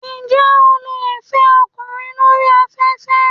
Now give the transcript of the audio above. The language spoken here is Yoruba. Ṣé o lè fẹ́ ọkùnrin lórí afẹ́fẹ́?